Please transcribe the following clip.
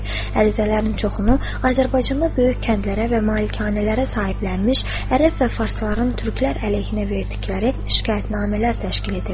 Ərizələrin çoxunu Azərbaycanda böyük kəndlərə və malikanələrə sahiblənmiş ərəb və farsların türklər əleyhinə verdikləri şikayətnamələr təşkil edirdi.